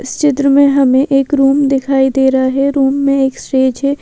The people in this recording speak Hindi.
इस चित्र में हमें एक रूम दिखाई दे रहा है रूम में एक स्टेज है।